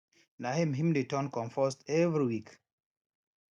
na him him dey turn compost every week